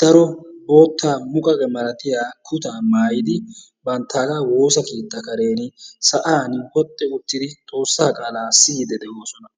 daro bootta muqaqiyaa milaatiya kutta maayidi banttaga woossaa keettaa kareni sa'ani woxxi uttidi xoossaa qaala siyidi de'oosona.